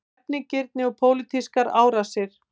Hefnigirni og pólitískar árásir